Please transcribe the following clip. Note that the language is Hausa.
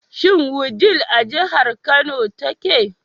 Shin Wudil a jihar Kano take?